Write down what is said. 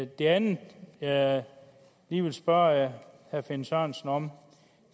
det andet jeg lige vil spørge herre finn sørensen om